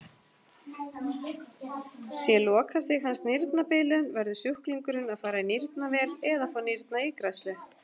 Sé lokastig hans nýrnabilun verður sjúklingurinn að fara í nýrnavél eða fá nýrnaígræðslu.